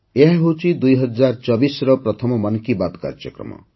ଏହାହେଉଛି ୨୦୨୪ର ପ୍ରଥମ ମନ୍ କି ବାତ୍ କାର୍ଯ୍ୟକ୍ରମ